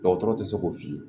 Dɔgɔtɔrɔ tɛ se k'o f'i ye